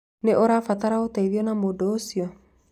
Nĩ ũrabatara ũteithio na mũndũ ũcio